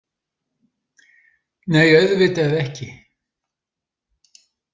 Nei, auðvitað ekki.